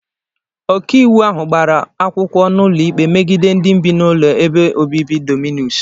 Ọkaiwu ahụ gbara akwụkwọ n'ụlọikpe megide ndi bi n'ụlọ ebe obibi dominus.